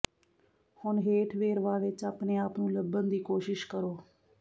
ਹੁਣ ਹੇਠ ਵੇਰਵਾ ਵਿੱਚ ਆਪਣੇ ਆਪ ਨੂੰ ਲੱਭਣ ਦੀ ਕੋਸ਼ਿਸ਼ ਕਰੋ